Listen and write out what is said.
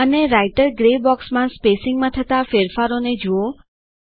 અને writer grey બોક્સમાં સ્પેસીંગમાં થતા ફેરફારોને જુઓ